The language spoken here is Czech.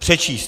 Přečíst.